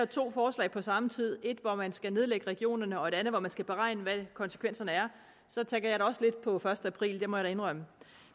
to forslag på samme tid et hvor man skal nedlægge regionerne og et andet hvor man skal beregne hvad konsekvenserne er så tænker jeg da også lidt på første april det må jeg indrømme